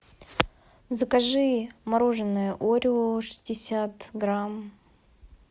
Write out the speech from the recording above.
закажи мороженое орео шестьдесят грамм